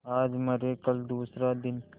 आज मरे कल दूसरा दिन